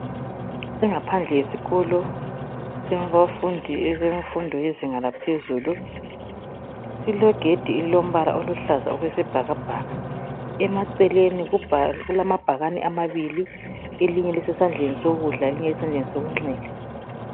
Ingaphandle yesikolo silabafundi befundo bezinga laphezulu. Silegedi elilombala oluhlaza okwesibhakabhaka. Emaceleleni kulamabhakane amabili, elinye lisesandleni sokudla elinye lisesandleni sokungxele.